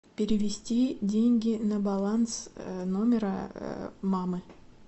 перевести деньги на баланс номера мамы